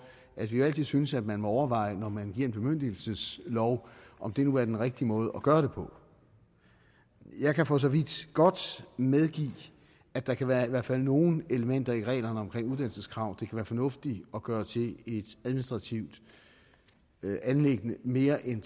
at vi jo altid synes at man må overveje når man giver en bemyndigelseslov om det nu er den rigtige måde at gøre det på jeg kan for så vidt godt medgive at der kan være i hvert fald nogle elementer i reglerne om uddannelseskrav kan være fornuftigt at gøre til et administrativt anliggende mere end